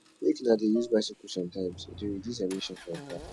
make una dey use bicycle sometimes e dey reduce emission from car